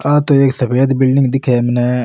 आ तो एक सफ़ेद बिलडिंग दिखे है मने।